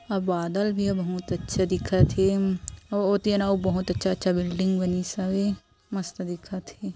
यहाँ बादल भी बहुत अच्छा दिखत हे अउ बहुत अच्छा अच्छा बिल्डिंग बनीस हावे मस्त दिखत हे।